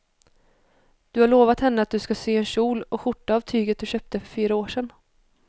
Du har lovat henne att du ska sy en kjol och skjorta av tyget du köpte för fyra år sedan.